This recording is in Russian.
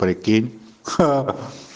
прикинь ха